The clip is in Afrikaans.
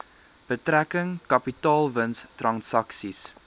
betrekking kapitaalwins transaksies